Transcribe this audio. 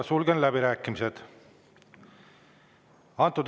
Sulgen läbirääkimised.